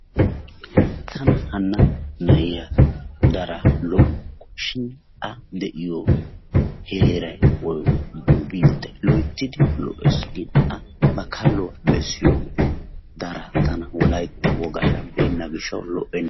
Tana hanna na'iya darin lo"ukku shin a de'iyo heeray woykko biittay loyttidi lo"ees shin a ba kalluwa bessiyooge daraa tana wolaytta wogaara beenna gishshawu tana lo"enna.